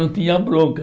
Não tinha bronca.